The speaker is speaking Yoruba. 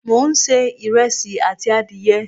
mo n se iresi ati adiye